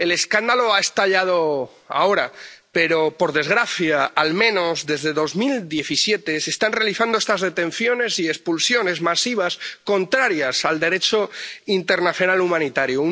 El escándalo ha estallado ahora, pero, por desgracia, al menos desde 2017, se están realizando estas detenciones y expulsiones masivas, contrarias al Derecho internacional humanitario